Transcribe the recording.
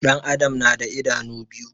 Ɗan adam na da idanu biyu